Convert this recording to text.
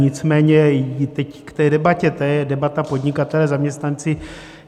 Nicméně teď k té debatě, to je debata podnikatelé-zaměstnanci.